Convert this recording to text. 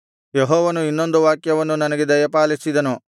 ಯೆಹೋವನು ಇನ್ನೊಂದು ವಾಕ್ಯವನ್ನು ನನಗೆ ದಯಪಾಲಿಸಿದನು